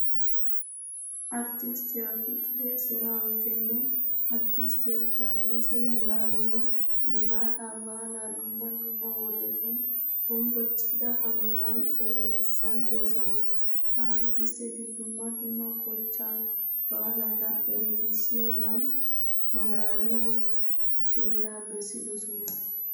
Arttisttiya fiqire seraawitinne arttisttisttiya taaddese muluwalema gifaataa baalaa dumma dumma wodetun hombbocida hanotan eretissidosona. Ha arttistteti dumma dumma kochchaa baalata eretissiyogan maalaaliya beeraa bessidosona.